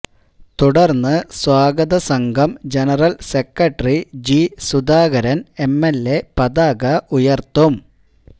തുടർന്ന് സ്വാഗതസംഘം general secretary G Sudhakaran MLA പതാക ഉയർത്തും